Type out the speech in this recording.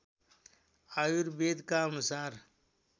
आयुर्वेदका अनुसार